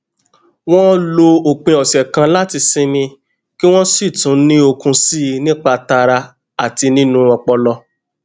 wón lo òpin òsè kan láti sinmi kí wón sì tún ní okun síi nípa tara àti nínú ọpọlọ